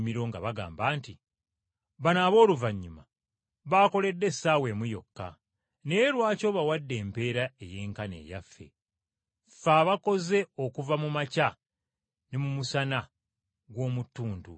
nga bagamba nti, ‘Bano abooluvannyuma baakoledde essaawa emu yokka naye lwaki obawadde empeera eyenkana eyaffe, ffe abaakoze okuva mu makya ne mu musana gw’omu tuntu?’